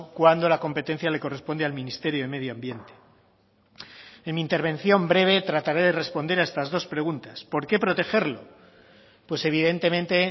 cuando la competencia le corresponde al ministerio de medio ambiente en mi intervención breve trataré de responder a estas dos preguntas por qué protegerlo pues evidentemente